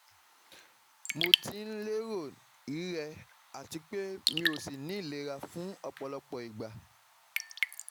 Mo ti n lero rirẹ̀ àti pé mi ò sì nilera fún ọ̀pọ̀lọpọ̀ ìgbà